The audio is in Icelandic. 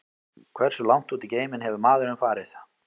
Hversu langt út í geiminn hefur maðurinn farið?